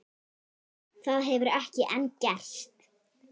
Það hefur ekki enn gerst.